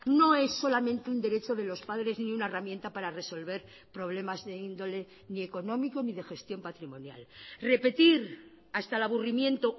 no es solamente un derecho de los padres ni una herramienta para resolver problemas de índole ni económico ni de gestión patrimonial repetir hasta el aburrimiento